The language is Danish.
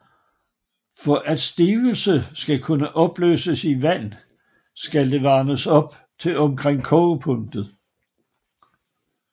For at stivelse skal kunne opløses i vand skal det varmes op til omkring kogepunktet